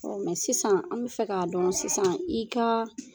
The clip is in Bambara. Ɔ sisan an bi fɛ k'a dɔn sisan i ka